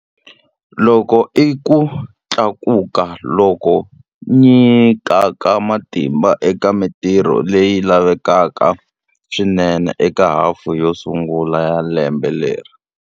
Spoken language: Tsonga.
Loku i ku tlakuka loku nyikaka matimba eka mitirho leyi lavekaka swinene eka hafu yo sungula ya lembe leri.